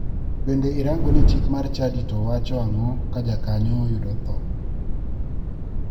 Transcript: Bende irango ni chik mar chadi to wacho ang'o ka jakanyo oyudo tho.